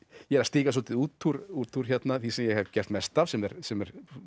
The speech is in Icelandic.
ég er að stíga svolítið út úr út úr því sem ég hef gert mest af sem er sem er